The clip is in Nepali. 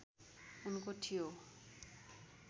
उनको थियो